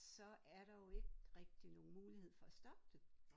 Så er der jo ikke rigtig nogen mulighed for at stoppe det